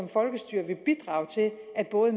nu er